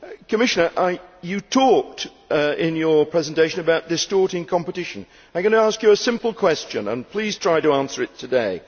Commissioner, you talked in your presentation about distorting competition. I am going to ask you a simple question, and please try to answer it today.